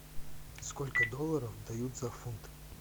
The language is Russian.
сколько долларов дают за фунт